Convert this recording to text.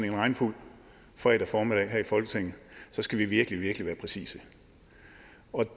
en regnfuld fredag formiddag her i folketinget så skal vi virkelig virkelig være præcise